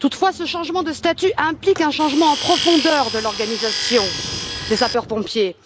Toutefois, ce changement de statut implique un changement en profondeur de l'organisation des sapeurs pompiers.